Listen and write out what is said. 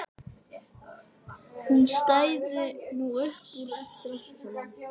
Hún stæði nú upp úr eftir allt saman.